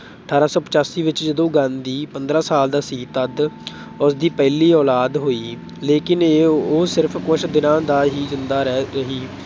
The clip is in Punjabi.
ਅਠਾਰਾਂ ਸੌ ਪਚਾਸੀ ਵਿੱਚ, ਜਦੋਂ ਗਾਂਧੀ ਪੰਦਰਾਂ ਸਾਲ ਦਾ ਸੀ ਤੱਦ ਉਸਦੀ ਪਹਿਲੀ ਔਲਾਦ ਹੋਈ ਲੇਕਿਨ ਉਹ ਸਿਰਫ ਕੁੱਝ ਦਿਨ ਹੀ ਜ਼ਿੰਦਾ ਰਹੀ ਸੀ।